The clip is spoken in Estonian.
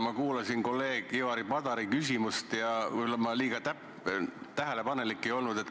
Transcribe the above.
Ma kuulasin kolleeg Ivari Padari küsimust ja võib-olla ma liiga tähelepanelik ei olnud.